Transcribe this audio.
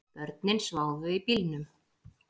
Börnin sváfu í bílnum